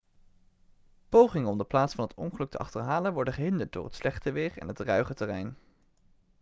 pogingen om de plaats van het ongeluk te achterhalen worden gehinderd door het slechte weer en het ruige terrein